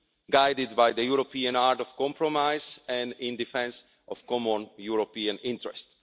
guided by the European art of compromise and in defence of the common European interest.